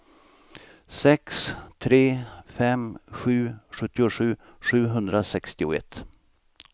sex tre fem sju sjuttiosju sjuhundrasextioett